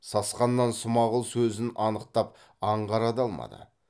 сасқанынан смағұл сөзін анықтап аңғара да алмады